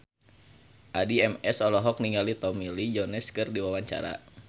Addie MS olohok ningali Tommy Lee Jones keur diwawancara